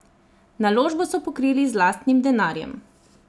Naložbo so pokrili z lastnim denarjem.